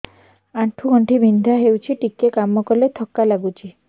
ଆଣ୍ଠୁ ଗଣ୍ଠି ବିନ୍ଧା ହେଉଛି ଟିକେ କାମ କଲେ ଥକ୍କା ଲାଗୁଚି